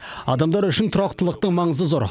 адамдар үшін тұрақтылықтың маңызы зор